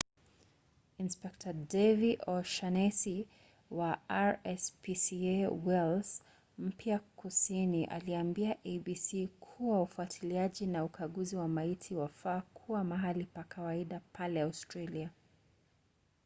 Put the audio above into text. inspekta david o’shannesy wa rspca wales mpya kusini aliambia abc kuwa ufuatiliaji na ukaguzi wa maiti wafaa kuwa mahali pa kawaida pale australia